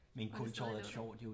Og det stadig lå der